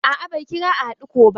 A'a bai kira a hadu ko ba.